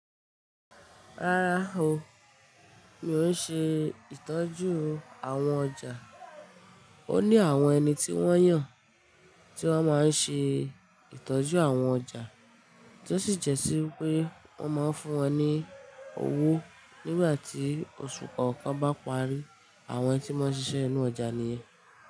Rárá o, mi ò ṣe ìtọ́jú àwọn ọjà. Ó ní àwọn ẹni tí wọ́n yàn, tí wọ́n máa ń ṣe ìtọ́jú àwọn ọjà, tí ó sì jẹ́sí wípé wọ́n máa ń fún wọn ní owó nígbà tí oṣù kọ̀ọ̀kan bá parí. Àwọn tí màá n ṣiṣẹ́ ínú ọjà nìyẹn.